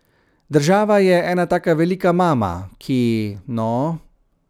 Država je ena taka velika mama, ki, no ...